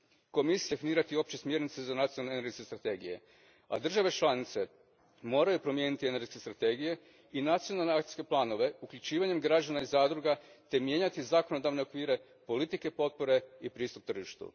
Komisija treba definirati opće smjernice za nacionalne energetske strategije, a države članice moraju promijeniti energetske strategije i nacionalne akcijske planove uključivanjem građana i zadruga te mijenjati zakonodavne okvire, politike potpore te pristup tržištu.